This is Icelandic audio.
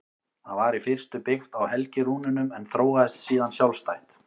Það var í fyrstu byggt á helgirúnunum en þróaðist síðan sjálfstætt.